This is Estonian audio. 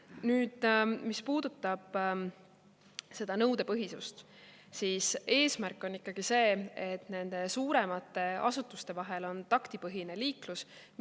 Nüüd, mis puudutab seda nõudepõhisust, siis eesmärk on ikkagi see, et nende suuremate vahel on taktipõhine liiklus.